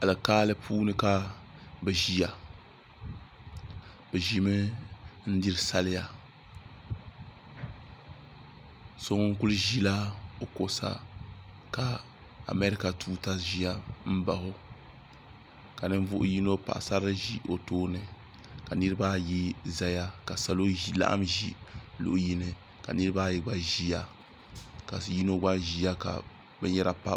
alikaali puuni ka bi ʒiya bi ʒimi n diri sariya so ŋun kuli ʒila o kuɣu sa ka maɛrika tuuta biɛni ka ninvuɣu yino paɣasarili ʒi o tooni ka niraba ayi ʒɛya ka salo laɣam ʒi luɣu yini ka niraba ayi gba ʒiya ka yino gba ʒiya ka binyɛra pa o tooni